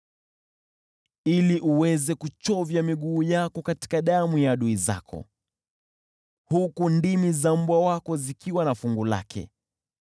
ili uweze kuchovya miguu yako katika damu ya adui zako, huku ndimi za mbwa wako zikiwa na fungu lake.”